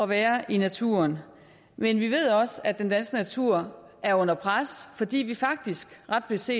være i naturen men vi ved også at den danske natur er under pres fordi vi faktisk ret beset